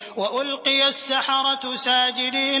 وَأُلْقِيَ السَّحَرَةُ سَاجِدِينَ